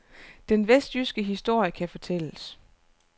Den vestjyske historie kan fortælles.